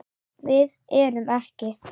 Við erum ekki.